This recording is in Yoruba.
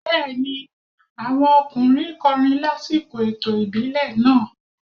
Bẹ́ẹ̀ni, àwọn ọkùnrin kọrin lásìkò ètò ìbílẹ̀ náà.